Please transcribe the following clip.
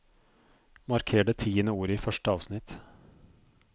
Marker det tiende ordet i første avsnitt